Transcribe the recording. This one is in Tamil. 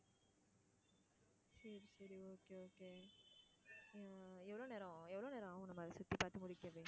எவ்ளோ நேரம் எவ்ளோ நேரம் ஆகும் நம்ப அதை சுத்தி பாத்து முடிக்கவே?